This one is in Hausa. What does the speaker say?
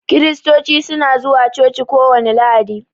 Kiristoci su na zuwa coci kowani lahadi.